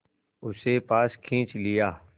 उसे पास खींच लिया